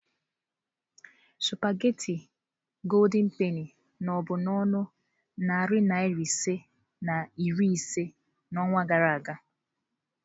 sụpaghetị goldị penị no bụ na ọnụ narị naira ise na iri ise n'ọnwa gara aga.